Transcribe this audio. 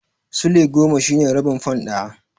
Sulai goma shine rabin fan ɗaya.